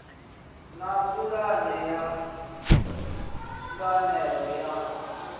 na pulane ya ṱhanganelano ya